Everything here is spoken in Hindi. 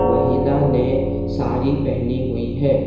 महिला ने साड़ी पहनी हुई है।